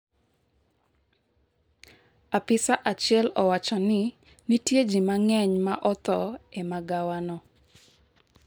Apisa achiel owacho ni nitie ji mang'eny ma otho e magawa no